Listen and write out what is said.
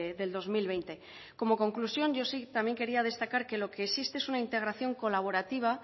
del dos mil veinte como conclusión yo sí también quería destacar que lo que existe es una integración colaborativa